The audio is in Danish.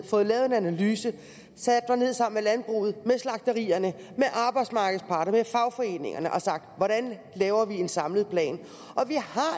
fået lavet en analyse sat mig ned sammen med landbruget med slagterierne med arbejdsmarkedets parter med fagforeningerne og sagt hvordan laver vi en samlet plan